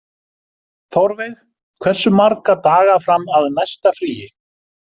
Þórveig, hversu marga daga fram að næsta fríi?